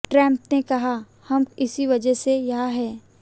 Trump ने कहाः हम इसी वजह से यहां हैं